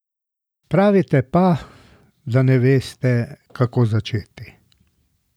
Pravite pa, da ne veste, kako začeti.